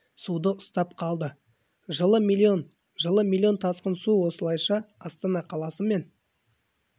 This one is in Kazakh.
суды ұстап қалды жылы млн жылы млн жылы млн тасқын су осылайша астана қаласы мен